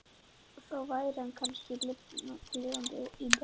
Þá væri hann kannski lifandi í dag.